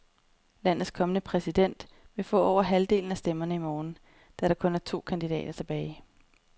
Landets kommende præsident vil få over halvdelen af stemmerne i morgen, da der kun er to kandidater tilbage.